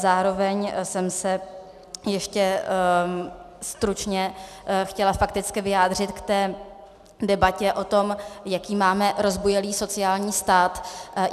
Zároveň jsem se ještě stručně chtěla fakticky vyjádřit k té debatě o tom, jaký máme rozbujelý sociální stát.